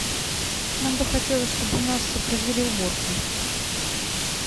нам бы хотелось чтобы у нас произвели уборку